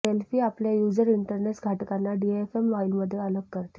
Delphi आपल्या user interface घटकांना DFM फाईलमध्ये अलग करते